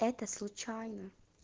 это случайно